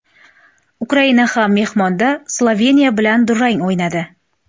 Ukraina ham mehmonda Sloveniya bilan durang o‘ynadi.